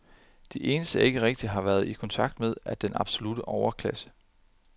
De eneste, jeg ikke rigtig har været i kontakt med, er den absolutte overklasse.